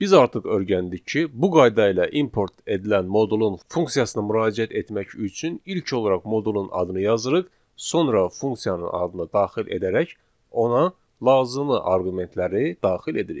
Biz artıq öyrəndik ki, bu qayda ilə import edilən modulun funksiyasına müraciət etmək üçün ilk olaraq modulun adını yazırıq, sonra funksiyanın adını daxil edərək ona lazımi arqumentləri daxil edirik.